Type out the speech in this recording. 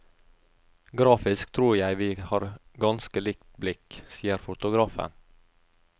Grafisk tror jeg vi har ganske likt blikk, sier fotografen.